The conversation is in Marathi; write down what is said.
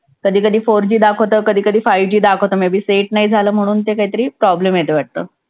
कधी कधी four G दाखवतं, कधी कधी five G दाखवतं. set नाही झालं म्हणून ते काहीतरी problem आहेत वाटतं.